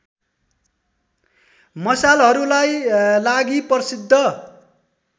मसालहरूलाई लागि प्रसिद्ध